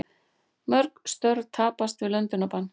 Mörg störf tapast við löndunarbann